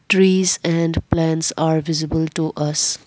trees and plants are visible to us.